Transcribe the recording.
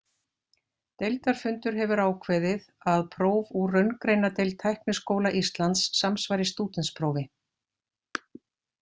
Deildarfundur hefur ákveðið, að próf úr raungreinadeild Tækniskóla Íslands samsvari stúdentsprófi.